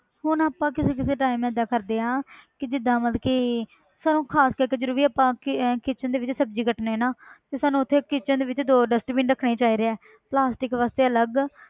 ਹੁਣ ਆਪਾਂ ਕਿਸੇ ਕਿਸੇ time ਏਦਾਂ ਕਰਦੇ ਹਾਂ ਕਿ ਜਿੱਦਾਂ ਮਤਲਬ ਕਿ ਸਾਨੂੰ ਖ਼ਾਸ ਕਰਕੇ ਜਦੋਂ ਵੀ ਆਪਾਂ ਕਿ~ kitchen ਦੇ ਵਿੱਚ ਸਬਜ਼ੀ ਕੱਟਦੇ ਹਾਂ ਨਾ ਤੇ ਸਾਨੂੰ ਉੱਥੇ kitchen ਦੇ ਵਿੱਚ ਦੋ dustbin ਰੱਖਣੇ ਚਾਹੀਦੇ ਹੈ plastic ਵਾਸਤੇ ਅਲੱਗ